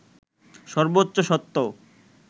সর্বোচ্চ সত্য